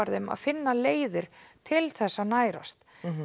þeim og finna leiðir til þess að nærast